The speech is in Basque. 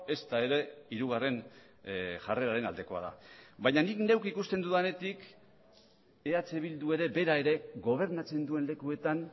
ezta ere hirugarren jarreraren aldekoa da baina nik neuk ikusten dudanetik eh bildu ere bera ere gobernatzen duen lekuetan